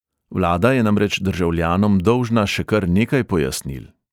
Vlada je namreč državljanom dolžna še kar nekaj pojasnil.